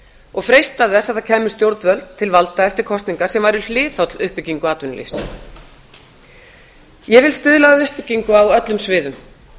og freista þess að það kæmu stjórnvöld til valda eftir kosningar sem væru hliðholl uppbyggingu atvinnulífs ég vil stuðla að uppbyggingu á öllum sviðum